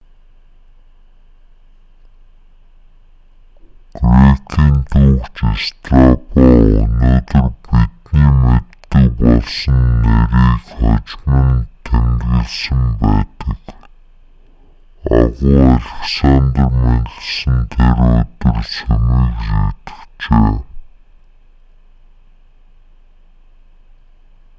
грекийн түүхч страбо өнөөдөр бидний мэддэг болсон нэрийг хожим нь тэмдэглэсэн байдаг агуу александр мэндэлсэн тэр өдөр сүмийг сүйтгэжээ